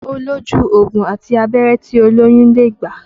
Ó lójú ògùn àti abẹ́rẹ́ tí olóyún lè gbà